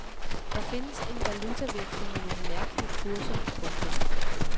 Der findes en valutaveksling med nogle mærkelige kurser. punktum